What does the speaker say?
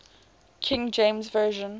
king james version